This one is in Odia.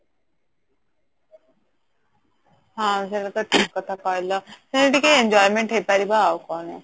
ହଁ ସେଟା ତ ଠିକ କଥା କହିଲ ସେମିତି ଟିକେ enjoyment ହେଇପାରିବ ଅଉ